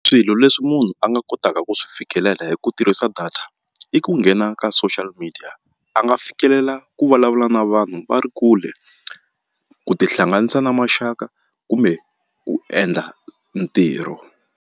Swilo leswi munhu a nga kotaka ku swi fikelela hi ku tirhisa data i ku nghena ka social media a nga fikelela ku vulavula na vanhu va ri kule ku tihlanganisa na maxaka kumbe ku endla ntirho.